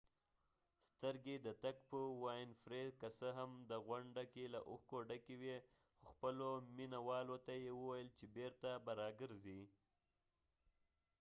که څه هم د winfrey سترګې د تګ په غوڼده کې له اوښکو ډکې وي خو خپلو مینه والو ته یې وویل چې بیرته به راګرځي